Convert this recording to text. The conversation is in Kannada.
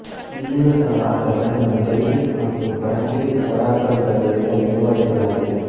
ಇಲ್ಲಿಯೂ ಸಹ ಆತ ತನ್ನನ್ನು ಡೆಲ್ಫಿಕ್ ಮತ್ತು ಬ್ರಾಂಕಿಡಿಕ್ ಒರಾಕಲ್ ಗಳಲ್ಲಿ ಇದನ್ನು ವಿವರಿಸಲಾಗಿದೆ